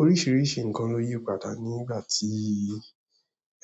Oríṣiríṣi nkan lo yi padà nigbati